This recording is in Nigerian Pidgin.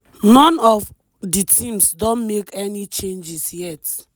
none of di teams don make any changes yet--